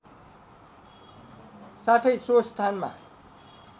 साथै सो स्थानमा